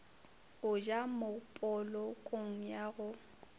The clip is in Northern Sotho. go ja mopolokong ya go